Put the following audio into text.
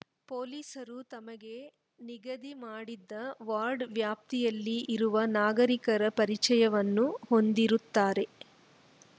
ಪೊಲೀಸರು ತಮಗೆ ನಿಗದಿ ಮಾಡಿದ ವಾರ್ಡ್‌ ವ್ಯಾಪ್ತಿಯಲ್ಲಿ ಇರುವ ನಾಗರಿಕರ ಪರಿಚಯವನ್ನೂ ಹೊಂದಿರುತ್ತಾರೆ